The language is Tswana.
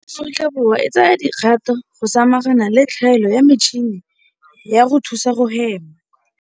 Aforika Borwa e tsaya dikgato go samagana le tlhaelo ya metšhini ya go thusa go hema.